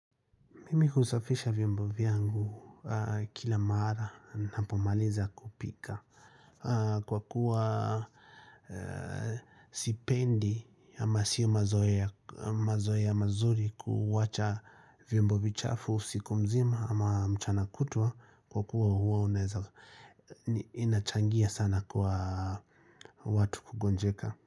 Mimi husafisha vyombo vyangu kila maara napomaliza kupika, kwa kuwa sipendi ama sio mazoea mazoea mazuri kuwacha vyombo vichafu usiku mzima ama mchana kutwa kwa kuwa huwa unaweza ni inachangia sana kwa watu kugonjeka.